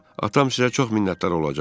Atam sizə çox minnətdar olacaq.